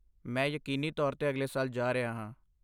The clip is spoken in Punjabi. ਮੈਂ ਯਕੀਨੀ ਤੌਰ 'ਤੇ ਅਗਲੇ ਸਾਲ ਜਾ ਰਿਹਾ ਹਾਂ।